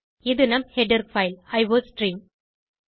இது நம் header file iostream